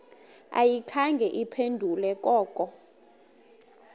ayikhange iphendule koko